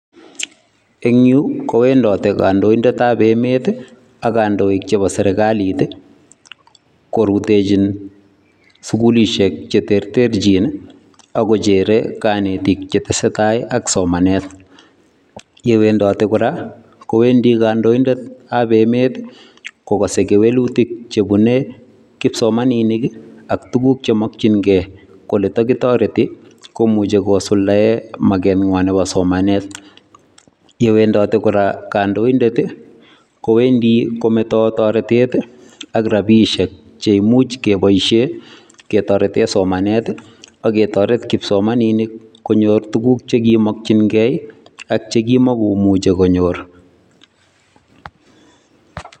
Eng yu kowendote kandoidetab emet ak kandoik chebo serikalit korutechin sukulisiek cheterterchin ako cheere kanetik che tesetai ak somanet . Ye wendotei kora, kowendi kandoidetab emet kokasei kewelutik chebunei kipsomaninik ak tuguk chemakchinkei, kole takitoreti komuchi kosuldae makengwai nebo somanet. Ye wendote kora kandoidet kowendi kometei toretet ak rapishiek che imuch kepoishe ketorete somanet ake toret kipsomaninik konyor tuguk chekimakchinkei ak chikima inuchei konyor.